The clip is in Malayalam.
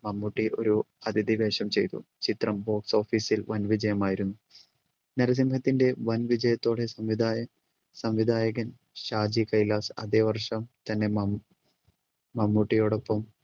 മമ്മൂട്ടി ഒരു അതിഥി വേഷം ചെയ്തു ചിത്രം box office ൽ വൻ വിജയമായിരുന്നു നരസിംഹത്തിൻ്റെ വൻവിജയത്തോടെ സംവിധയൻ സംവിധായകൻ ഷാജി കൈലാസ് അതെ വർഷം തന്നെ മംമ്‌ മമ്മൂട്ടിയോടൊപ്പം